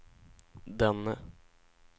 denne